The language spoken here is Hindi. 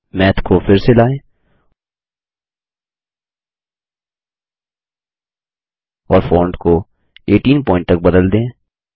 मैथ को फिर से लाएं160 और फोंट को 18 पॉइंट तक बदल दें